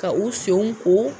Ka u senw ko.